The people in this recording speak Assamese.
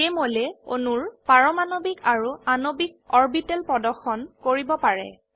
Jmolএ অণুৰ পাৰমাণবিক আৰু আণবিক অৰবিটেল প্ৰদৰ্শন কৰিব পাৰে